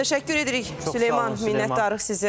Təşəkkür edirik, Süleyman, minnətdarıq sizə.